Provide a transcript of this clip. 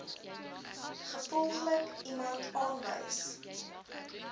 gevolglik iemand aanwys